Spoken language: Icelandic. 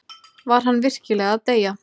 Var hann virkilega að deyja?